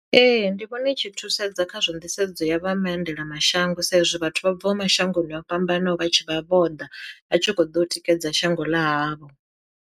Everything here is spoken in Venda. Ee ndi vhona i tshi thusedza khazwo nḓisedzo ya vha maendela mashango sa izwi vhathu vha bva mashangoni o fhambanaho vha tshi vha vho ḓa vha tshi kho ḓo tikedza shango ḽa havho.